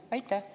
Hea kolleeg!